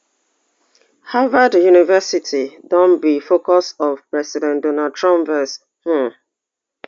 harvard university don be focus of president donald trump vex um